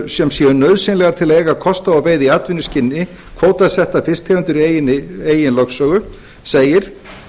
sem séu nauðsynlegar til eiga kost á að veiða í atvinnuskyni kvótasettar fisktegundir í eigin lögsögu segir